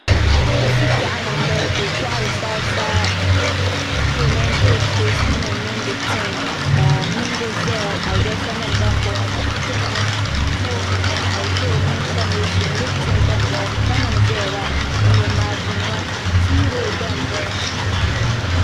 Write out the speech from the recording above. Country Shelly n ƶa bɛ nyaaŋa ka do so ƶa maik gbuni ka mŋari lunsi ka ga bɛni ka yɛ liga piɛli ka paɣa so gba ƶaa wara ka ƶanŋ bɛnyara lo o gbaya ni suhipiɛli ka ƶi bɛni ka maik maa mihi-waya nim maa yirina.